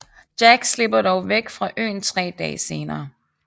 Jack slipper dog væk fra øen 3 dage senere